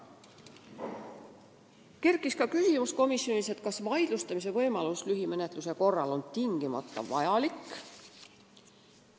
Komisjonis kerkis üles ka küsimus, kas vaidlustamise võimalus lühimenetluse korral on tingimata vajalik.